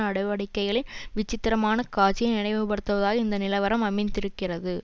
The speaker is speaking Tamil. நடவடிக்கைகளின் விசித்திரமான காட்சியை நினைவுபடுத்துவதாய் இந்த நிலவரம் அமைந்திருக்கிறது